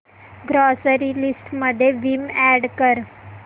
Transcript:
grocery list मध्ये Vim add कर